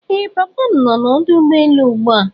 Ee papa m no na ọdụ ụgbọelu ugbua.